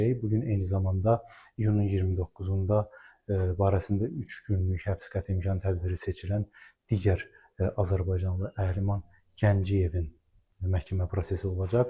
Bu gün eyni zamanda iyunun 29-da barəsində üç günlük həbs qəti imkan tədbiri seçilən digər azərbaycanlı Əhliman Gəncəyevin məhkəmə prosesi olacaq.